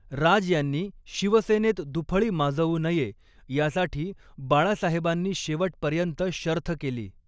राज यांनी शिवसेनेत दुफळी माजवू नये यासाठी बाळासाहेबांनी शेवटपर्यंत शर्थ केली.